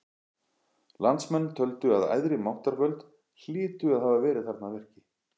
Landsmenn töldu að æðri máttarvöld hlytu að hafa verið þarna að verki.